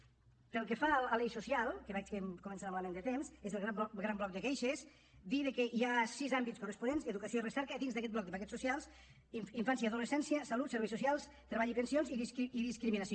pel que fa a l’eix social que veig que començo a anar malament de temps és el gran bloc de queixes dir que hi ha sis àmbits corresponents educació i recerca dins d’aquest bloc de paquets socials infància i adolescència salut serveis socials treball i pensions i discriminació